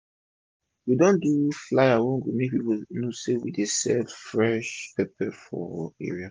we don do flyer wey go make pipu know say we dey sell fresh pepper for area